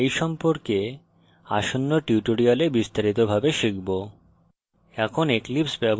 আমরা we সম্পর্কে আসন্ন tutorials বিস্তারিত ভাবে শিখব